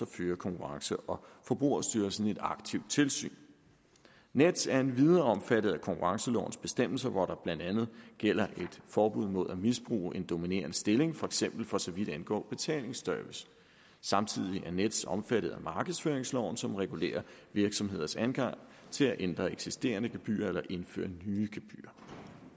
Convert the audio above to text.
fører konkurrence og forbrugerstyrelsen et aktivt tilsyn nets er endvidere omfattet af konkurrencelovens bestemmelser hvor der blandt andet gælder et forbud mod at misbruge en dominerende stilling for eksempel for så vidt angår betalingsservice samtidig er nets omfattet af markedsføringsloven som regulerer virksomheders adgang til at ændre eksisterende gebyrer eller indføre nye gebyrer